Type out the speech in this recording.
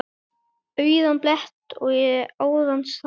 Auðan blett ég áðan sá.